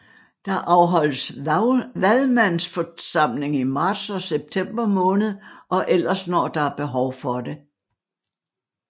Der afholdes Valgmandsforsamling i marts og september måned og ellers når der behov for det